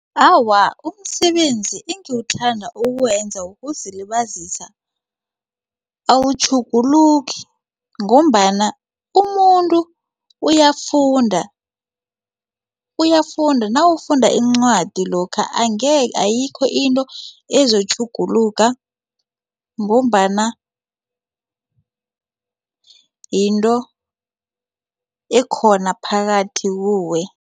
Awa, umsebenzi engiwuthanda ukuwenza ukuzilibazisa awutjhuguluki ngombana umuntu uyafunda uyafunda nawufunda incwadi lokha ayikho into ezotjhuguluka ngombana yinto ekhona phakathi kuwe.